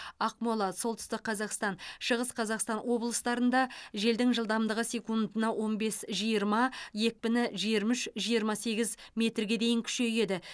ақмола солтүстік қазақстан шығыс қазақстан облыстарында желдің жылдамдығы секундына он бес жиырма екпіні жиырма үш жиырма сегіз метрге дейін күшейеді